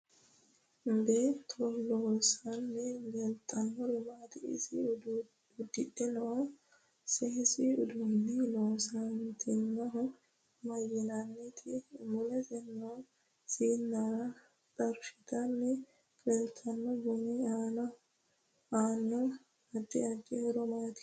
Beeto loosanni leeltanori maati ise udidhe noo seesu uddanno loosantinohu mayiiniiti mulese noo siinara xorshitanni leeltanno buni aano addi addi horo maati